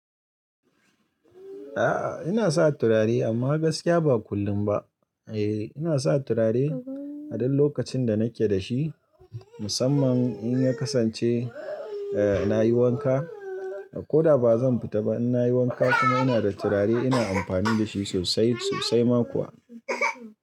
A'a, ina sa turare amma gaskiya ba kullum ba. Eh, ina sa turare a duk lokacin da nake da shi. Musamman in ya kasance, eh, na yi wanka ko da ba zan fita ba. In na yi wanka kuma ina da turare ina amfani da shi sosai sosai ma kuwa.